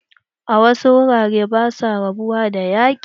A wasu wuraren ba sua rabuwa da yaƙi.